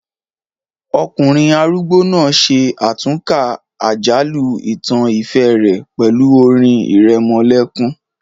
Ọkùnrin arúgbó náà ṣe àtúnkà àjálù ìtàn ìfẹ́ rẹ̀ pẹ̀lú orin ìrẹmọlẹ́kún